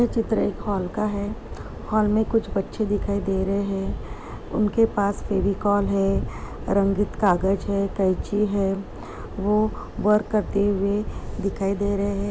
यह चित्र एक हॉल का है। हॉल में कुछ बच्चे दिखाई दे रहे हैं। उनके पास फेविकोल है रंगीत कागज़ है कैंची है। वो वर्क करते हुए दिखाई दे रहे हैं।